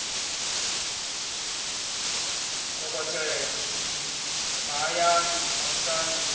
dokotela e g mahayani vhamusanda